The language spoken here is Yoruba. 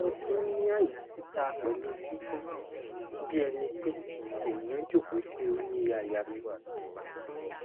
mo tin ni aya tita pelu gigun bi enipe eniyan joko si ori aya mi